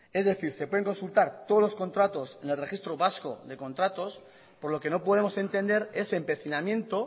es decir se pueden consultar todos los contratos en el registro vasco de contratos por lo que no podemos entender ese empecinamiento